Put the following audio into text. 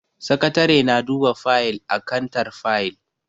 Sakatare na duba fayil a kantar fayil.